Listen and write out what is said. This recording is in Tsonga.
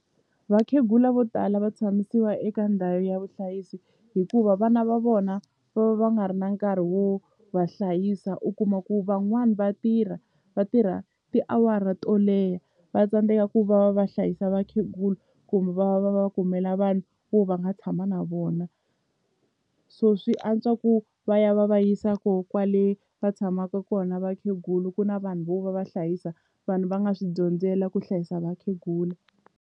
Vakhegula vo tala va tshamisiwa eka ndhawu ya vuhlayisi hikuva vana va vona va va va nga ri na nkarhi wo va hlayisa u kuma ku van'wani va tirha va tirha tiawara to leha va tsandzeka ku va va va hlayisa vakhegula kumbe va va va va kumela vanhu vo va nga tshama na vona so swi antswa ku va ya va va yisa kona kwale va tshamaka kona vakhegula ku na vanhu vo va va hlayisa vanhu va nga swi dyondzela ku hlayisa vakhegula.